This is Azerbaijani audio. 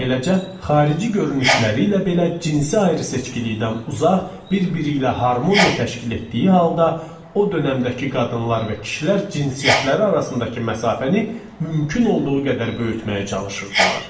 Beləcə, xarici görünüşləri ilə belə cinsi ayrıseçkilikdən uzaq, bir-biri ilə harmoniya təşkil etdiyi halda, o dönəmdəki qadınlar və kişilər cinsiyyətləri arasındakı məsafəni mümkün olduğu qədər böyütməyə çalışırdılar.